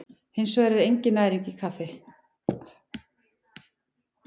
Hins vegar er engin næring í kaffi.